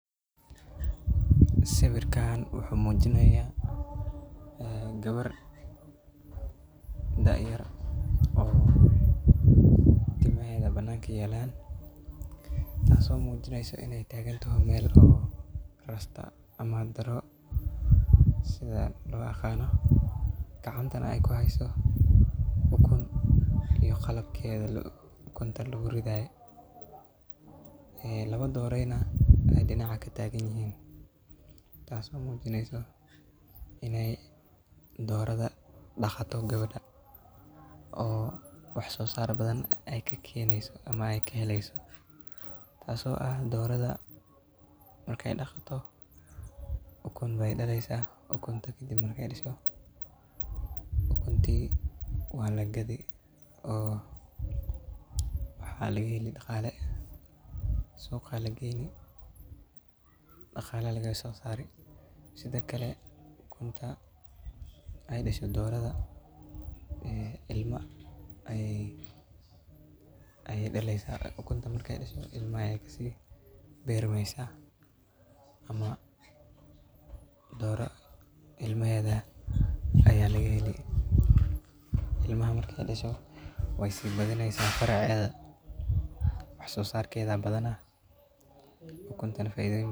Sawirkan wuxuu muujinaya gabar dhac yar oo timaheeda banaankii yeelaan. Taaso muujinayso inay taagentaho meel oo rasta ama daro sida loo aqano gacantana ay ku hayso ukun iyo qalabkeeda. Ukunta lu uridaaye ee laba doorayna ah ay dhinaca ka taagnihiin. Taasoo muujinayso inay doorada dhakhaato gabadha oo wax soo saar badan ay ka keenayso ama ay ka helayso. Taaso ah, dooradda markay dhakhto ukun bay dhalayso ah ukuntii kadib marki dasho. Ukuntii waa la gadi oo waxaa laga heli dhaqaale suuq aya lagayni dhaqaale laga soo saari. Sida kale ukunta ay dheshe dooradda ee ilma ay ay dhalayso ukuntana markay dhesho. Ilma ay kasi beermaysa ama dooro ilma heda ayaa laga heli. Ilmaha markay dhesho way si badanaysan faracyada wax soo saar kedha badana ukuntana faiidhiyo.